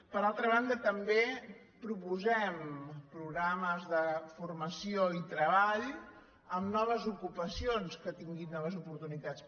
per altra banda també proposem programes de formació i treball amb noves ocupacions que tinguin noves oportunitats